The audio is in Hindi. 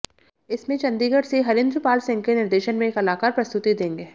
इसमें चण्डीगढ़ से हरिंद्र पाल सिंह के निर्देशन में कलाकार प्रस्तुति देंगे